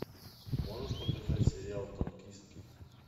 можешь показать сериал танкистки